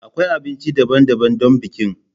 Akwai abinci daban-daban don bikin.